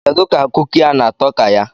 Kedu ka kuki a na-atọ ka ya?